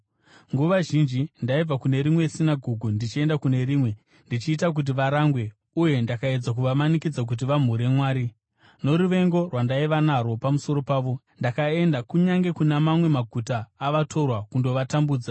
Nguva zhinji ndaibva kune rimwe sinagoge ndichienda kune rimwe ndichiita kuti varangwe, uye ndakaedza kuvamanikidza kuti vamhure Mwari. Noruvengo rwandaiva narwo pamusoro pavo, ndakaenda kunyange kuna mamwe maguta avatorwa kundovatambudza.